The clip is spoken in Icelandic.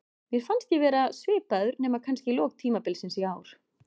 Mér fannst ég vera svipaður, nema kannski í lok tímabils í ár.